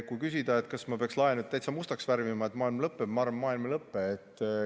Kui küsida, kas ma peaksin lae täitsa mustaks värvima, et maailm lõppeb, siis ma arvan, et maailm ei lõppe.